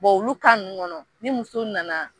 Bon olu ninnu kɔnɔ ni muso nana